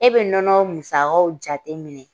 E bɛ nɔnɔ musakaw jateminɛ